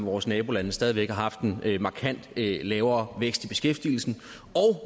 vores nabolande stadig væk har haft en markant lavere vækst i beskæftigelsen